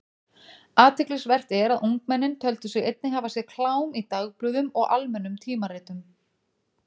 Athyglisvert er að ungmennin töldu sig einnig hafa séð klám í dagblöðum og almennum tímaritum.